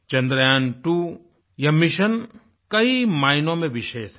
two यह mission कई मायनों में विशेष है